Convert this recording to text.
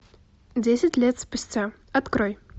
десять лет спустя открой